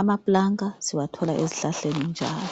amaplanka siwathola ezihlahleni njalo.